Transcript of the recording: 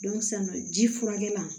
ji furakɛ la